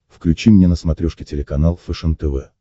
включи мне на смотрешке телеканал фэшен тв